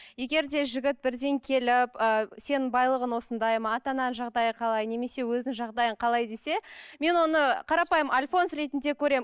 егер де жігіт бірден келіп ы сенің байлығың осындай ма ата анаң жағдайы қалай немесе өзіңнің жағдайың қалай десе мен оны қарапайым альфонс ретінде көремін